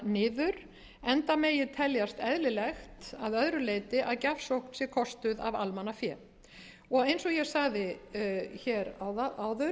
niður enda megi teljast eðlilegt að öðru leyti að gjafsókn sé kostuð af almannafé eins og ég sagði áður